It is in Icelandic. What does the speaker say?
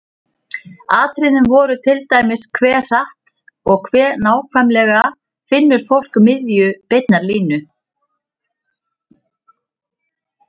Atriðin voru til dæmis: Hve hratt og hve nákvæmlega finnur fólk miðju beinnar línu?